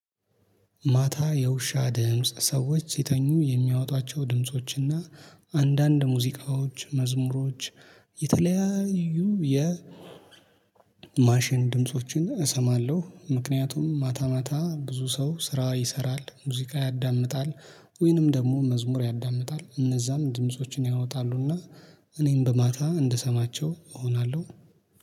ማታ የውሻ ድምጽ ሰዎች ሲተኙ የሚያወጧቸው ድምጾችና አንዳንድ ሙዚቃዎች መዝሙሮች የተለያዩ የ ማሽን ድምፆችን እሰማለሁ። ምክንያቱም ማታ ማታ ብዙ ሰው ስራ ይሰራል ሙዚቃ ያዳምጣል። ወይንም ደግሞ መዝሙር ያዳምጣል እነዛም ድምፆችን ያወጣሉና። እኔም በማታ እንድሰማቸው እሆናለሁ